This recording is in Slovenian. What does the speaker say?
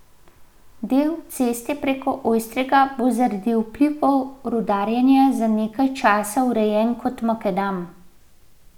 Del ceste preko Ojstrega bo zaradi vplivov rudarjenja za nekaj časa urejen kot makadam.